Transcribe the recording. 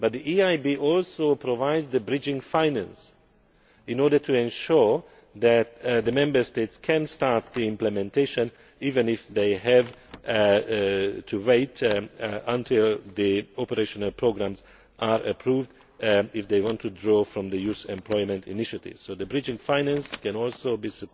But the EIB also provides the bridging finance in order to ensure that the Member States can start implementation even if they have to wait until the operational programmes are approved if they want to draw from the Youth Employment initiatives. So the bridging finance can also